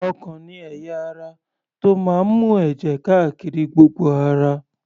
Ọkàn ni ẹ̀yà ara tó máa ń mú èjè káárí gbogbo ara.